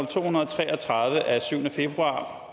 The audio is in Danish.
to hundrede og tre og tredive af syvende februar